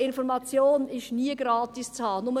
Information ist nämlich nie gratis zu haben.